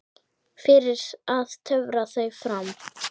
Fyrir að töfra þau fram.